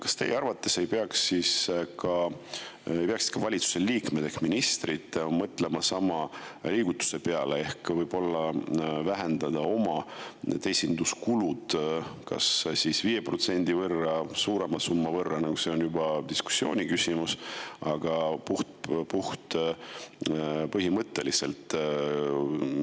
Kas teie arvates ei peaks ka valitsuse liikmed ehk ministrid mõtlema sama liigutuse peale ehk võib-olla vähendama oma esinduskulusid kas 5% võrra või suurema summa võrra – see on juba diskussiooni küsimus – puht põhimõtteliselt?